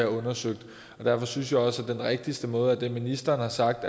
undersøgt derfor synes jeg også at den rigtigste måde er det ministeren har sagt